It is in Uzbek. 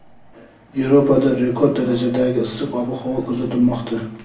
Yevropada rekord darajadagi issiq ob-havo kuzatilmoqda.